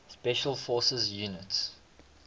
special forces units